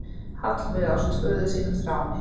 Heiðveig ásamt föður sínum, Þráni